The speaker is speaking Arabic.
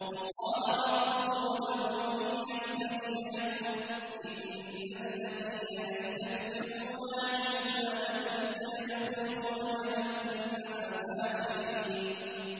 وَقَالَ رَبُّكُمُ ادْعُونِي أَسْتَجِبْ لَكُمْ ۚ إِنَّ الَّذِينَ يَسْتَكْبِرُونَ عَنْ عِبَادَتِي سَيَدْخُلُونَ جَهَنَّمَ دَاخِرِينَ